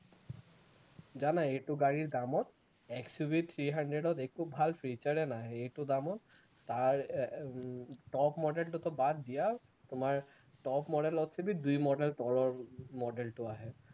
জানা এইটো গাড়ীৰ দামত XUV three hundred ত একো ভাল feature এ নাহে, এইটো দামত তাৰ আহ top model টোতো বাদ দিয়া তোমাৰ top model ত দুই model তলৰ model টো আহে